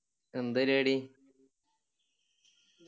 എന്തരുപാടി